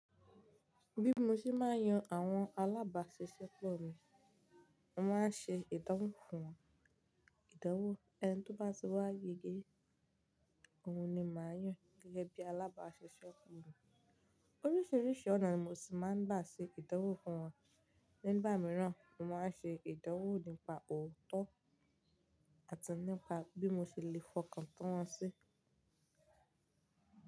Bí mo ṣe máa ń yan àwọn alábàáṣiṣẹ́ pọ̀ mi, mo máa ń ṣe ìdánwò fún wọn, ìdánwò ẹni tó bá ti wá yege, òun ni màá yàn gẹ́gẹ́ bí alábáàṣiṣẹ́ fún mi. Oríṣiríṣi ọ̀nà ni mo sì máa ń gbà ṣe ìdánwò fún wọn, nígbà mìíràn mo máa ń ṣe ìdánwò nípa òótọ́ àti nípa bí mo ṣe le fọkàn tán wọn sí.